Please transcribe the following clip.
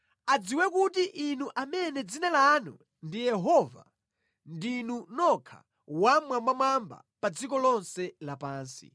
Adziwe kuti Inu amene dzina lanu ndi Yehova, ndinu nokha Wammwambamwamba pa dziko lonse lapansi.